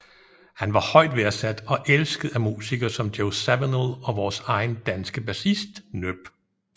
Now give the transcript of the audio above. Han var højt værdsat og elsket af musikere som Joe Zawinul og vores egen danske bassist NHØP